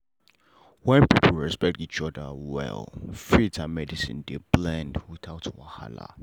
wen people respect each other well faith and medicine dey blend without wahala.